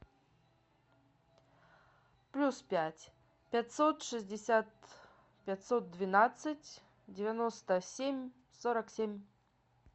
плюс пять пятьсот шестьдесят пятьсот двенадцать девяносто семь сорок семь